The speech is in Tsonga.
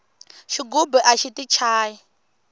xigubu axi ti chayi